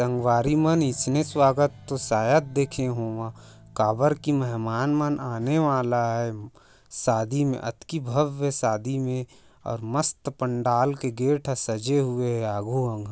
संगवारी मन इसने स्वागत तो शायद देखे होवा कावर की मेहमान मन आने वाला है शादी में अतकी भव्य सादी में और मस्त पंडाल के गेट सजे हुए आघो अंग।